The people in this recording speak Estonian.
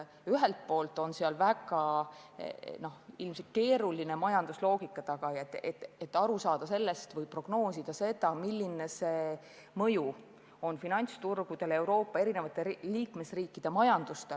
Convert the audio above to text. Ühelt poolt on tegu ilmselt väga keerulise majandusloogikaga, et aru saada või prognoosida, milline mõju on finantsturgudel Euroopa erinevate liikmesriikide majandusele.